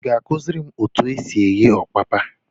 Ị ga akụziri m étù ésì éghé ọpapa?